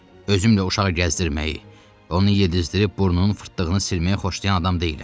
Özümlə uşağı gəzdirməyi, onu yedizdirib burnunun fırtdığını silməyi xoşlayan adam deyiləm.